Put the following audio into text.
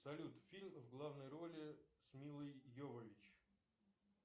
салют фильм в главной роли с миллой йовович